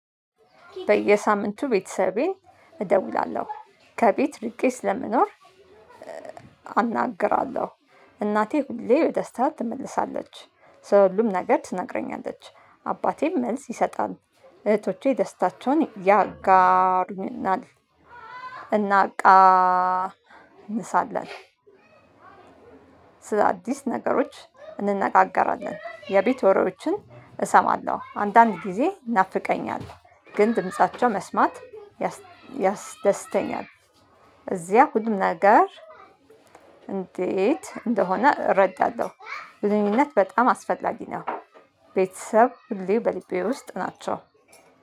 በየሳምንቱ ቤተሰቤ እደውላለሁ ከቤት ርቄ ስለምኖር አናግራለሁ እናቴ ሁሌ ደስታ ትመልሳለች ስለ ሁሉም ነገር ትነግረኛለች አባቴም መልስ ይሰጣል እህቶቼ ደስታቸውን ያጋሩኛል። እናቃ ንሳለን። ስለአዲስ ነገሮች እንነጋገራለን የቤት ወሬዎችን እሰማለሁ አንዳንድ ጊዜ ይናፍቀኛል። ግን ድምፃቸው መስማት ያስደስተኛል። እዚያ ሁሉም ነገር እንዴት እንደሆነ እረዳለሁ። ግንኙነት በጣም አስፈላጊ ነው። ቤተሰብ ሁሌ በሊቤ ውስጥ ናቸው።